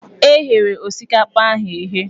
E ghere osikapa ahụ eghe.